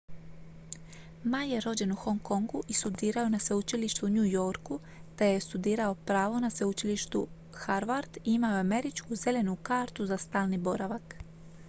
"ma je rođen u hong kongu i studirao je na sveučilištu u new yorku te je studirao pravo na sveučilištu harvard i imao je američku "zelenu kartu" za stalni boravak.